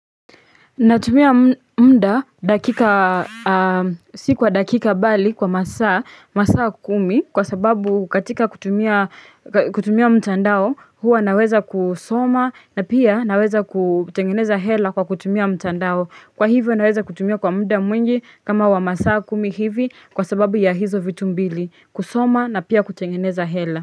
Natumia mda sikuwa dakika bali kwa masaa kumi kwa sababu katika kutumia mtandao huwa naweza kusoma na pia naweza kutengeneza hela kwa kutumia mtandao kwa hivyo naweza kutumia kwa mda mwingi kama wa masaa kumi hivi kwa sababu ya hizo vitu mbili kusoma na pia kutengeneza hela.